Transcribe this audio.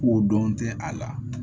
Ko dɔn tɛ a la